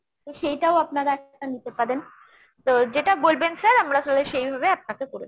তো সেইটাও আপনারা একটা নিতে পারেন। তো যেটা বলবেন sir আমরা তালে সেইভাবে আপনাকে করে দেব।